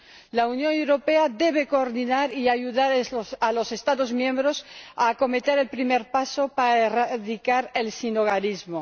La Unión Europea debe coordinar y ayudar a los Estados miembros a acometer el primer paso para erradicar el sinhogarismo.